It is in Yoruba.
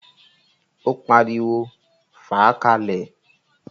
Ó pariwo, "fàá ka lẹ̀!"